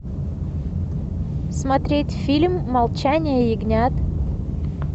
смотреть фильм молчание ягнят